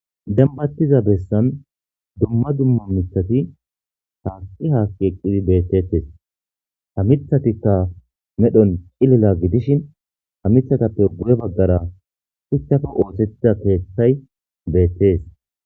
dambattiza bessan dumma dumma mithati taaqi haakki eqqidi beettetes ta mithatikka medhon cilila gidishin ta mithatappe bu7e baggara huchthafe ootethita keeththay beettees